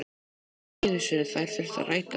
Ekki einu sinni þær þurfa að rætast.